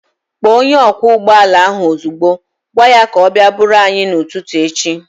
Kpọọ onye ọkwọ ụgbọala ahu ozigbo! Gwaa ya ka ọ bịa buuru anyị n'ụtụtụ echi